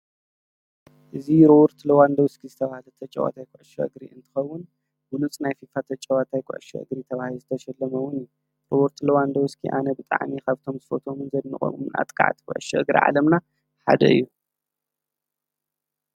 እዝ ርወርት ለዋንዶውስኪ ዝብ ዘተጨዋታኣይ ቋሸ እግሪ እንትኸውን ብሉጽ ናይ ፊፋ ኣጨዋታይ ቋሸ እግሪ ተብይ ዘተሸለመውን እዩ ሮወርት ለዋንዶውስኪ ኣነ ብጥዕሚ ኻብቶም ዝፎቶምን ዘድምቐምምንኣጥቃዓት ጐሽ እግሪ ዓለምና ሓደ እዩ።